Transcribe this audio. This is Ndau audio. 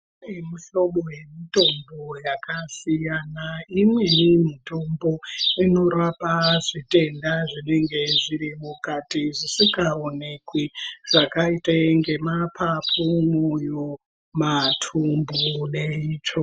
Kunemihlobo yemitombo yakasiyana. Imweni yemitombo inorapa zvitenda zvinenge zvirimukati, zvisingawonekwi, zvakayite ngemaphaphu, moyo, mathumbu ne intso.